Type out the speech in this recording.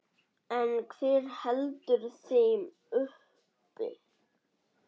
En hver heldur þeim uppi?